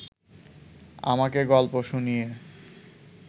আমাকে গল্প শুনিয়ে